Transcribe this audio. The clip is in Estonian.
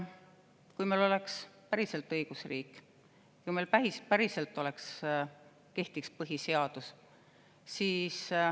Kui meil oleks päriselt õigusriik ja meil päriselt kehtiks põhiseadus …